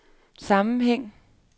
sammenhæng